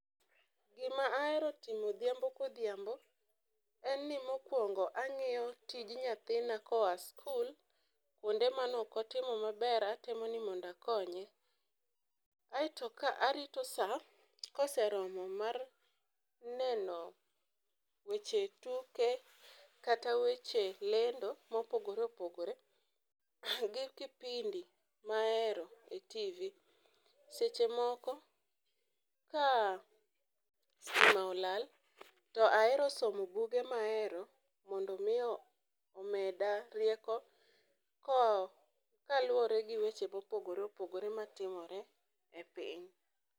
gima ahero timo odhiambo kodhiambo en ni mokwongo ang'iyo tij nyathina koa skul kuonde manokotimo maber atemo ni mondo akonye. Kae to arito saa koseromo mar neno weche tuke kata weche lendo mopogore opogore gi kipindi maero e tivi seche moko ka stima olal ahero somo buge maero mondo mi omeda rieko ko kaluwore gi weche mapogore opogore matimore e piny.